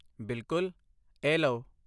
ਬਿਲਕੁੱਲ, ਏ ਲਓ।